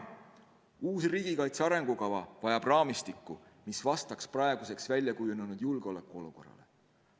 Uus riigikaitse arengukava vajab raamistikku, mis vastaks praeguseks väljakujunenud julgeolekuolukorrale.